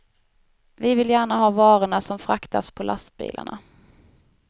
Vi vill gärna ha varorna som fraktas på lastbilarna.